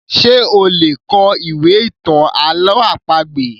Ṣé o lè kọ ìwé ìtàn àlọ́ àpagbè?